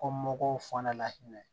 Ko mɔgɔw fana la hinɛ